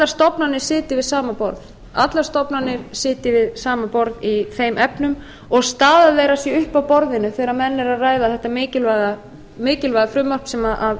stofnanir sitji við sama borð í þeim efnum og staða þeirra sé uppi á borðinu þegar menn er að ræða þetta mikilvæga frumvarp sem